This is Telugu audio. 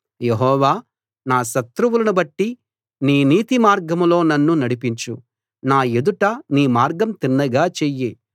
యెహోవా నా శత్రువులను బట్టి నీ నీతి మార్గంలో నన్ను నడిపించు నా ఎదుట నీ మార్గం తిన్నగా చెయ్యి